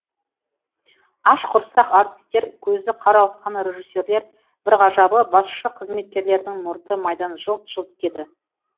аш құрсақ артистер көзі қарауытқан режиссерлер бір ғажабы басшы қызметкерлердің мұрты майдан жылт жылт етеді